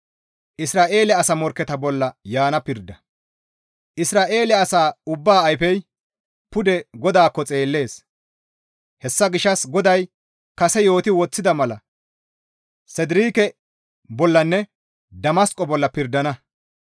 Isra7eele asa ubbaa ayfey pude GODAAKKO xeellees; hessa gishshas GODAY kase yooti woththida mala Sedireeke bollanne Damasqo bolla pirdana.